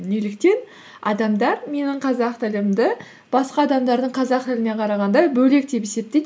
неліктен адамдар менің қазақ тілімді басқа адамдардың қазақ тіліне қарағанда бөлек деп есептейді